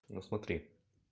ну смотри